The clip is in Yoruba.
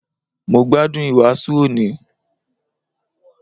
Mo gbádùn ìwàásù òní